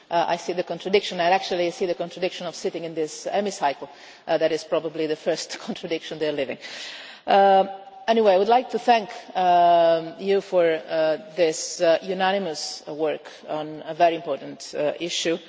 I see that contradiction and actually see the contradiction of their sitting in this Hemicycle that is probably the first contradiction they are living. Anyway, I would like to thank you for this unanimous work on a very important issue.